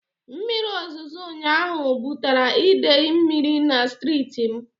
Mmiri ozozo ụnyaahụ bụtara idei mmiri na strịtị m